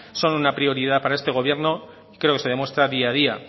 son una prioridad para este gobierno creo que se demuestra día a día